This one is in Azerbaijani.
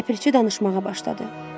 Ləpirçi danışmağa başladı.